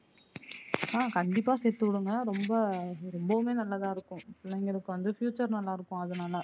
ஆஹ் கண்டிப்பா சேத்து விடுங்க ரொம்ப ரொம்பவுமே நல்லதா இருக்கும் பிள்ளைங்களுக்கு வந்து future நல்லா இருக்கும் அதுனால